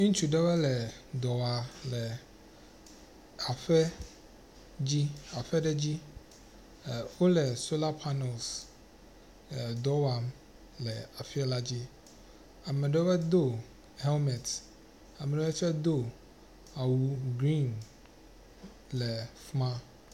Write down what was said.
Ŋutsu ɖewɔe le dɔ wɔa le aƒe dzi aƒe ɖe dzi. Wole soalr panels dɔ wɔa le aƒe la dzi. Ame ɖewɔe do helmet ame ɖewɔe tse awu green le fi ma.ŋ0.